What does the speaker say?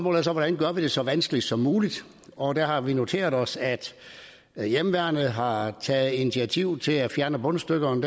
er så hvordan gør vi det så vanskeligt som muligt og der har vi noteret os at at hjemmeværnet har taget initiativ til at fjerne bundstykkerne